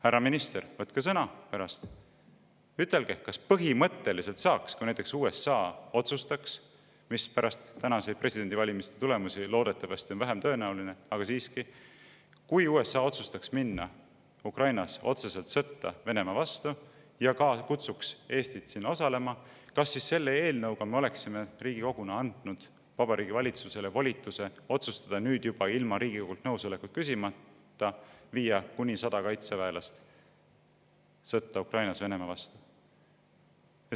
Härra minister, võtke pärast sõna ja ütelge, et kui näiteks USA otsustaks – pärast tänaseid presidendivalimiste tulemusi loodetavasti on see vähetõenäoline, aga siiski – astuda Ukrainas otseselt sõtta Venemaa vastu ja kutsuks Eestit sinna osalema, kas siis põhimõtteliselt me oleksime Riigikoguna andnud Vabariigi Valitsusele volituse otsustada nüüd juba ilma Riigikogult nõusolekut küsimata viia kuni 100 kaitseväelast sõtta Ukrainas Venemaa vastu?